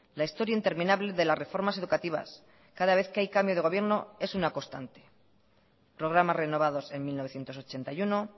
la historia interminable de las reformas educativas cada vez que hay cambio de gobierno es una constante programas renovados en mil novecientos ochenta y uno